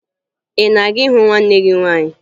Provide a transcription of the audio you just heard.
Ị na-aga ịhụ nwanne gị nwaanyị?